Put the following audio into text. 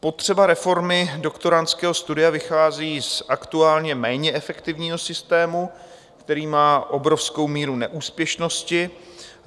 Potřeba reformy doktorandského studia vychází z aktuálně méně efektivního systému, který má obrovskou míru neúspěšnosti.